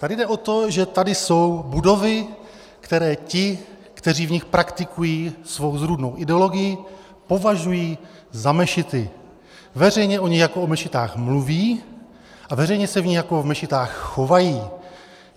Tady jde o to, že tady jsou budovy, které ti, kteří v nich praktikují svou zrůdnou ideologii, považují za mešity, veřejně o nich jako o mešitách mluví a veřejně se v nich jako v mešitách chovají.